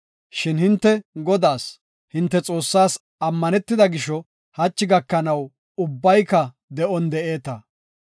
Shin hinte Godaas, hinte Xoossaas ammanetida gisho, hachi gakanaw ubbayka de7on de7eeta.